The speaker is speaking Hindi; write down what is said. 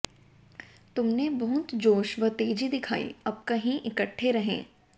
तुमने बहुत जोश व तेजी दिखाई अब कहीं इकट्ठे रहें